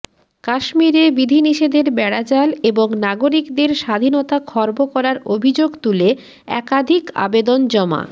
কাশ্মীরে বিধিনিষেধের বেড়াজাল এবং নাগরিকদের স্বাধীনতা খর্ব করার অভিযোগ তুলে একাধিক আবেদন জমা